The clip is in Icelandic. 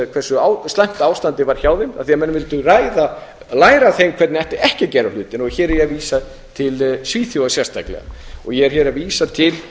hversu slæmt ástandið var hjá þeim af því menn vildu læra af þeim hvernig ætti ekki að gera hlutina hér er ég að vísa til svíþjóðar sérstaklega ég er hér að vísa til